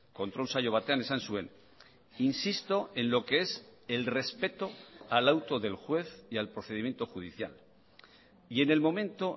kontrol saio batean esan zuen insisto en lo que es el respeto al auto del juez y al procedimiento judicial y en el momento